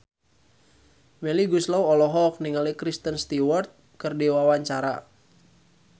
Melly Goeslaw olohok ningali Kristen Stewart keur diwawancara